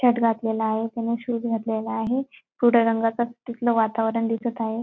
Shirt घातलेला आहे. त्यांनी शूज घातलेले आहे. रंगाचा तिथला वातावरण दिसत आहे.